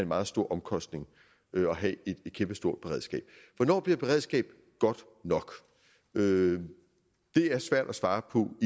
meget stor omkostning at have et kæmpestort beredskab hvornår bliver et beredskab godt nok det er svært at svare på